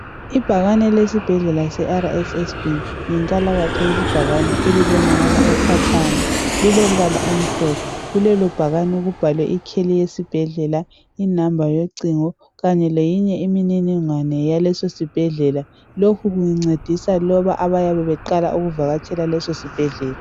Ibhakani elesibhedlela seRSSB yinkalakatha lesibhakani elibonakala ukhatshana lilompala omhlophe. Kulelo bhakani kubhalwe ikheli yesibhedlela inamba yocingo kanye leyinye imniningwano yaleso sibhedlela. Lokhu kuncedisa laba abayabe beqala ukuvakatshela leso sibhedlela.